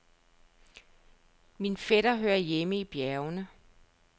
Min fætter hører hjemme i bjergene.